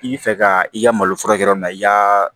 I bɛ fɛ ka i ka malo furakɛ yɔrɔ min na i y'a